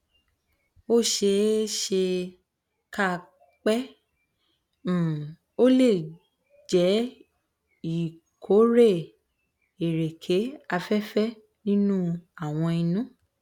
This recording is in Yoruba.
ó ṣe é é ṣe kà pé um ó lè jẹ ìkórè ẹrẹkè afẹfẹ nínú àwọn inú